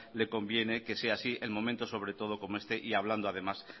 le conviene que sea así en momentos sobre todo como este y hablando además